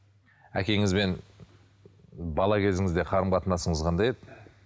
әкеңізбен бала кезіңізде қарым қатынасыңыз қандай еді